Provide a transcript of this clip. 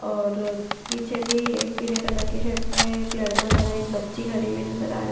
और पीछे भी एक पीले कलर के शर्ट पहने एक लड़का खड़ा है एक बच्ची खड़ी हुई नज़र आ रही--